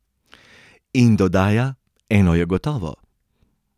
In dodaja: 'Eno je gotovo.